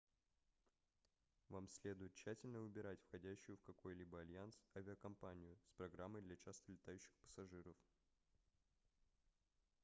вам следует тщательно выбирать входящую в какой-либо альянс авиакомпанию с программой для часто летающих пассажиров